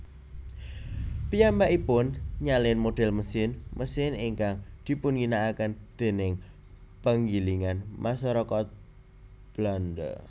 Piyambakipun nyalin modhel mesin mesin ingkang dipunginakaken déning penggilingan masarakat Belanda